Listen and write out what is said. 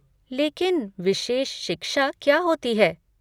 लेकिन विशेष शिक्षा क्या होती है?